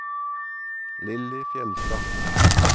Lilly Fjeldstad